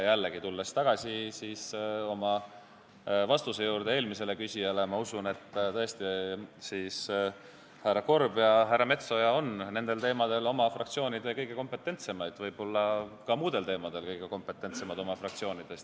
Aga tulles tagasi oma eelmise vastuse juurde, ma kordan: usun, et tõesti härra Korb ja härra Metsoja on selles valdkonnas oma fraktsioonis kõige kompetentsemad, nagu nad ehk on ka muudes valdkondades kõige kompetentsemad oma fraktsioonis.